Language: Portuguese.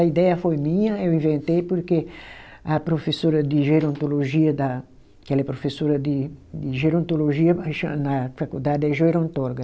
A ideia foi minha, eu inventei porque a professora de gerontologia da, que ela é professora de de gerontologia aí cha, na faculdade, é gerontóloga,